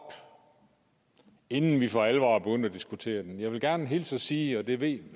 inden vi for alvor er begyndt at diskutere det jeg vil gerne hilse og sige og det ved